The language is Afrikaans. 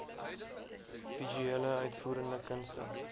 visuele uitvoerende kunste